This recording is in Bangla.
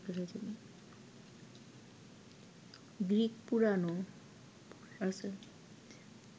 গ্রিক পুরাণে